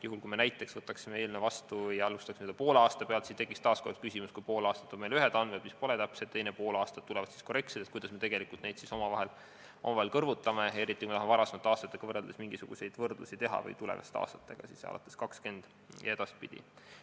Juhul, kui me näiteks võtaksime eelnõu seadusena vastu ja alustaksime seda tööd poole aasta pealt, siis tekiks taas kord küsimus, et kui pool aastat on meil ühed andmed, mis pole täpsed, teisel poolaastal tulevad korrektsed andmed, kuidas me neid siis omavahel kõrvutame, eriti kui me tahame teha mingisuguseid võrdlusi varasemate aastatega või tulevaste aastatega, alates aastast 2020 ja edaspidi.